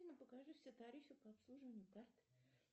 афина покажи все тарифы по обслуживанию карт